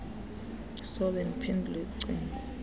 sobe ndiphendule cingo